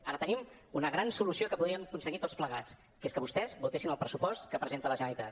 ara tenim una gran solució que podríem aconseguir tots plegats que és que vostès votessin el pressupost que presenta la generalitat